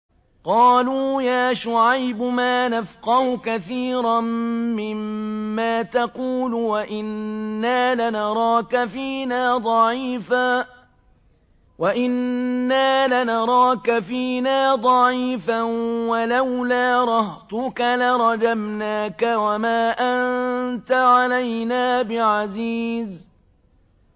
قَالُوا يَا شُعَيْبُ مَا نَفْقَهُ كَثِيرًا مِّمَّا تَقُولُ وَإِنَّا لَنَرَاكَ فِينَا ضَعِيفًا ۖ وَلَوْلَا رَهْطُكَ لَرَجَمْنَاكَ ۖ وَمَا أَنتَ عَلَيْنَا بِعَزِيزٍ